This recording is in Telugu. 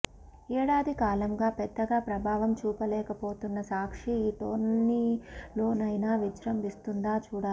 ఏడాది కాలంగా పెద్దగా ప్రభావం చూపలేకపోతున్న సాక్షి ఈ టోర్నీలోనైనా విజృంభిస్తుందా చూడాలి